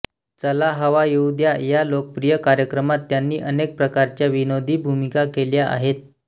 चला हवा येऊ द्या या लोकप्रिय कार्यक्रमात त्यांनी अनेक प्रकारच्या विनोदी भूमिका केल्या आहेत